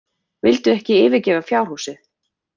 Vildu ekki yfirgefa fjárhúsin.